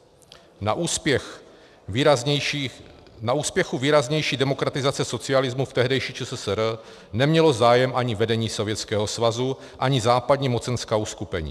Na úspěchu výraznější demokratizace socialismu v tehdejší ČSSR nemělo zájem ani vedení Sovětského svazu, ani západní mocenská uskupení.